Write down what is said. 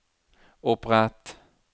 opprett